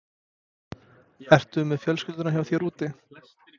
Ertu með fjölskylduna hjá þér úti?